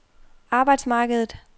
arbejdsmarkedet